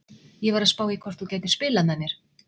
Ég var að spá í hvort þú gætir spilað með mér?